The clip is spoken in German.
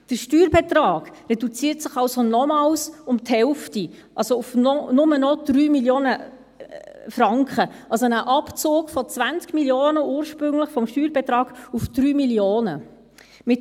Der Steuerbetrag reduziert sich also nochmals um die Hälfte, auf nur noch 3 Mio. Franken, also ein Abzug vom ursprünglichen Steuerbetrag von 20 Mio. auf 3 Mio. Franken.